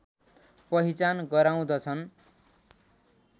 पहिचान गराउँदछन्